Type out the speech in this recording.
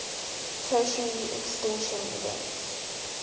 tertiary extinction event